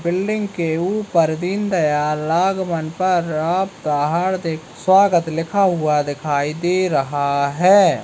Building के ऊपर दीनदयाला आगमन पर आपका हार्दिक स्वागत लिखा हुआ दिखाई दे रहा है।